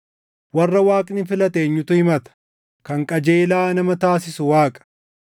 Warra Waaqni filate eenyutu himata? Kan qajeelaa nama taasisu Waaqa.